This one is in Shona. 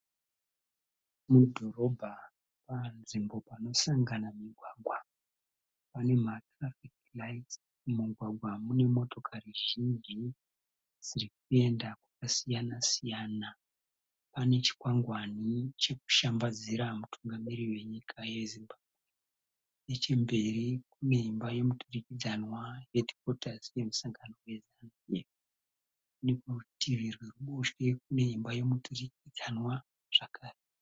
Mudhorobha panzvimbo panosangana migwagwa. Pane ma Traffic Lights. Mumugwagwa mune motokari zhinji dzirikuenda kwakasiyana siyana. Pane chikwangwani chekushambadzira mutungamiriri wenyika yeZimbabwe. Nechemberi kune imba yemuturikidzanwa Headquarters yemusangano weZANU Pf. Neoerutivi rweruboshwe kune imba yemuturikidzanwa zvakare.